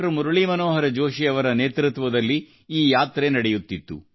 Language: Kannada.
ಮುರಳೀಮನೋಹರ ಜೋಷಿ ಅವರ ನೇತೃತ್ವದಲ್ಲಿ ಈ ಯಾತ್ರೆ ನಡೆಯುತ್ತಿತ್ತು